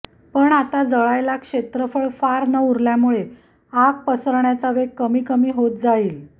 पण आता जळायला क्षेत्रफळ फार न उरल्यामुळे आग पसरण्याचा वेग कमी कमी होत जाईल